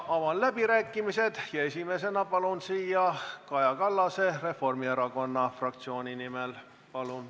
Avan läbirääkimised ja esimesena palun siia Kaja Kallase Reformierakonna fraktsiooni nimel.